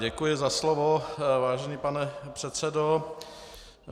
Děkuji za slovo, vážený pane předsedo.